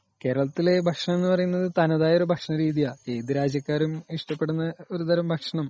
കേരളത്തിലെ ഭക്ഷണ രീതി എന്ന് പറയുന്നത് തനതായ ഒരു ഭക്ഷണ രീതി ആണ് .ഏതു രാജ്യക്കാരും ഇഷ്ടപെടുന്ന ഒരു ഭക്ഷണം .